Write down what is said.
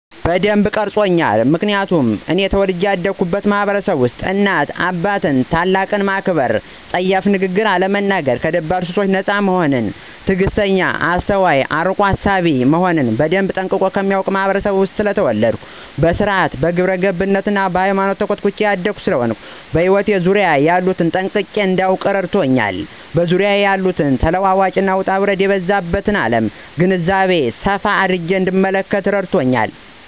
በደንብ ቀርጾኛል ምክንያቱም እኔ ተወልጀ ያደግሁበት ማህበረሰብ እናት አባትን እና ትልቅን ማክበር :ጸያፍ ንግግርን አለመናገር :ከደባል ሱሶች ነጻ መሆንን :ትግስተኛ :አስተዋይ እና አርቆ አሳቢ መሆንን በደንብ ጠንቅቆ ከሚያውቅ ህብረተሰብ ውስጥ ስለተወለድሁ በስርአት :በግብረገብነት እና በሃይማኖት ተኮትኩቸ ያደግሁ ስለሆነ በህይወት ዙሪያየ ያሉትን ጠንቅቄ እዳውቅ አድርጎኛል በዙሪያዋ ያለውን ተለዋዋጭ እና ውጣውረድ የበዛባት አለም ግንዛቤ ሰፋ አድርጌ እንድንመለከት እረድቶኛል።